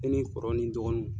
ni kɔrɔ ni n dɔgɔninw.